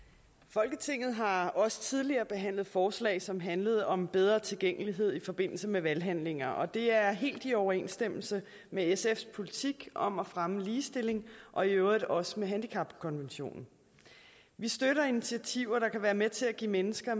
folketinget har også tidligere behandlet forslag som handlede om bedre tilgængelighed i forbindelse med valghandlinger og det er helt i overensstemmelse med sfs politik om at fremme ligestilling og i øvrigt også med handicapkonventionen vi støtter initiativer der kan være med til at give mennesker